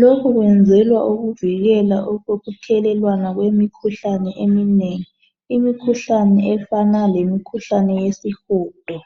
lokhu kwenzelwa ukuvikele ukuthelelwana kwemikhuhlane eminengi. Imikhuhlane efanana lemikhuhlane yesihudo.